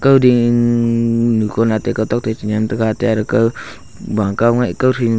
ding ku bow kow ni a ..